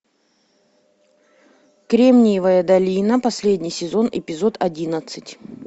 кремниевая долина последний сезон эпизод одиннадцать